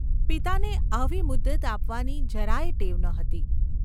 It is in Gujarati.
પિતાને આવી મુદ્દત આપવાની જરાય ટેવ ન હતી.